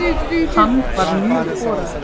Hann var mjög horaður.